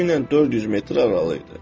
Təxminən 400 metr aralı idi.